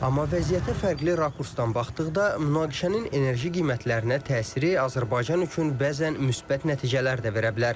Amma vəziyyətə fərqli rakursdan baxdıqda münaqişənin enerji qiymətlərinə təsiri Azərbaycan üçün bəzən müsbət nəticələr də verə bilər.